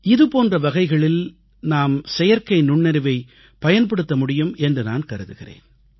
இதுபோன்ற வகைகளில் நாம் செயற்கை நுண்ணறிவைப் பயன்படுத்த முடியும் என்று நான் கருதுகிறேன்